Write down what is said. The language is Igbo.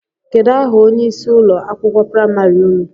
Kedụ aha onye ịsị ụlọ akwụkwọ praịmarị ụnụ?